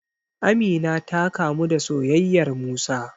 Amina ta kamu da soyayyar Musa.